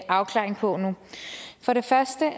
afklaring på nu for det første